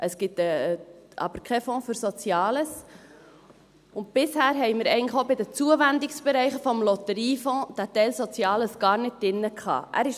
Es gibt aber keinen Fonds für Soziales, und bisher hatten wir eigentlich auch bei den Zuwendungsbereichen des Lotteriefonds diesen Teil Soziales gar nicht drin.